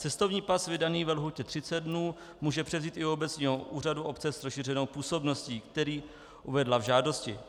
Cestovní pas vydaný ve lhůtě 30 dnů může převzít i u obecního úřadu obce s rozšířenou působností, který uvedla v žádosti.